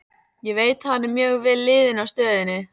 Ég veit að hann er mjög vel liðinn á stöðinni.